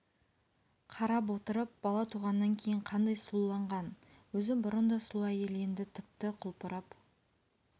қарап отырып бала туғаннан кейін қандай сұлуланған өзі бұрын да сұлу әйел енді тіпті құлпырып